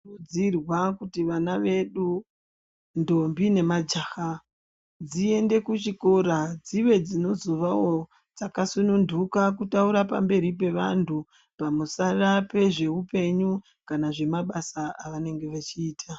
Zvinokurudzirwa kuti vana vedu ndombi nemajaha dziende kuchikora dzive dzinozovawo dzakasununtuka kutaura pamberi pevantu pamusara pezveupenyu kana zvemabasa avanenge vechiita.